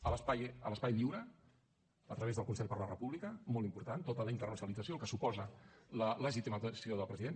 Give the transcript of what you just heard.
a l’espai lliure a través del consell de la república molt important tota la internacionalització el que suposa la legitimació del president